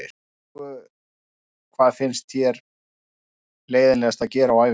Engu Hvað finnst þér leiðinlegast að gera á æfingu?